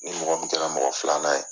Ni mɔgɔ min kɛra mɔgɔ filanan ye.